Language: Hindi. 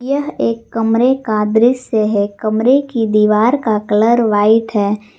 यह एक कमरे का दृश्य है कमरे की दीवार का कलर व्हाइट है।